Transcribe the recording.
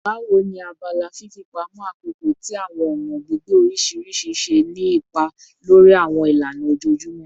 Bawo ni abala fifipamọ akoko ti awọn ọna gbigbe oriṣiriṣi ṣe ni ipa lori awọn ilana ojoojumọ?